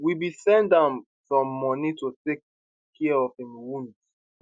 we bin send am some moni to take care of im wounds